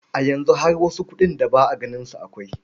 A yanzu har wasu kuɗin da ba a ganin su akwai.